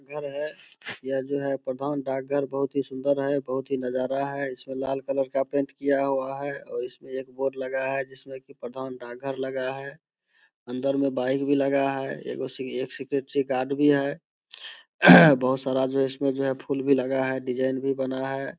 घर है यह जाे है प्रधान डाकघर बहुत ही सुंदर है बहुत ही नजारा है इसमें लाल कलर का पेंट किया हुआ है और इसमें एक बोर्ड लगा है जिसमें कि प्रधान डाकघर लगा है अंदर में बाईक भी लगा है ऐगो एक सिक्‍योरिटी गार्ड भी है बहुत सारा जो है फूल भी लगा है डिजाईन भी बना हैं।